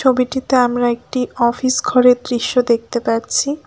ছবিটিতে আমরা একটি অফিস ঘরের দৃশ্য দেখতে পাচ্ছি।